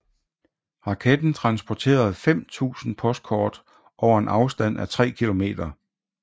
Raketten transporterede 5000 postkort over en afstand af tre kilometer